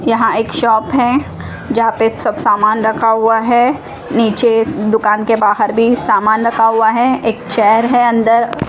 यहां एक शॉप है जहां पर सब सामान रखा हुआ है नीचे दुकान के बाहर भी सामान रखा हुआ है एक चेयर है अंदर--